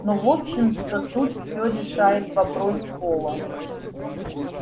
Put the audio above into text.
но в общем-то тут все решает вопрос пола